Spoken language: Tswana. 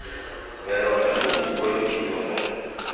bewa le go bolokiwa mo